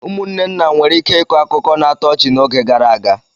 Ụmụnne nna nwere ike ịkọ akụkọ na-atọ ọchị n'oge gara aga.